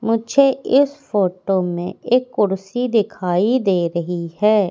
मुझे इस फोटो में एक कुर्सी दिखाई दे रही है।